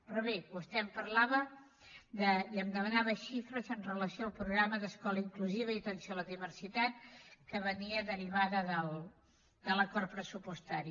però bé vostè em parlava i em demanava xifres amb relació al programa d’escola inclusiva i atenció a la diversitat que venia derivat de l’acord pressupostari